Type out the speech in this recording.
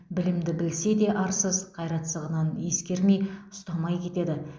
білімді білсе де арсыз қайратсыздығынан ескермей ұстамай кетеді